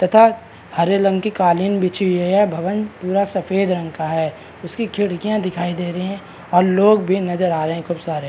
तथा हरे रंग की कालीन बीछी हुई है भवन पूरा सफ़ेद रंग का है उसकी खिड़कियां दिखाई दे रही है और लोग भी नज़र आ रहे है खूब सारे --